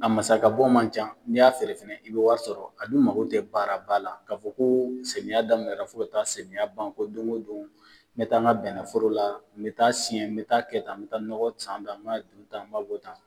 A masakɛbɔ man ca n'i y'a feere fɛnɛ i bɛ wari sɔrɔ a mago tɛ baaraba la k'a fɔ ko samiyɛ daminɛna fo ka taa samiyɛ ban ko don o don n bɛ taa n ka bɛnɛforo la n bɛ taa siɲɛ n bɛ taa kɛ tan n bɛ taa nɔgɔ san tan n b'a don tan n b'a bɔ tan